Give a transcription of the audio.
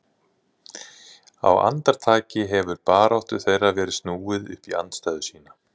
Á andartaki hefur baráttu þeirra verið snúið upp í andstæðu sína.